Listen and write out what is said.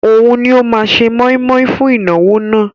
Òun ni ó máa se mọ́ímọ́í fún ìnáwó náà